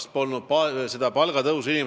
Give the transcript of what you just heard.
Seal polnud inimesed väga-väga pikalt palgatõusu näinud.